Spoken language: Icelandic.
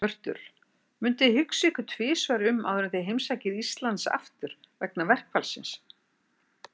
Hjörtur: Munuð þið hugsa ykkur um tvisvar áður en þið heimsækið Íslands aftur, vegna verkfallsins?